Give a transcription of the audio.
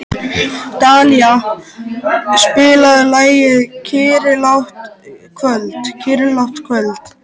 Dallilja, spilaðu lagið „Kyrrlátt kvöld“.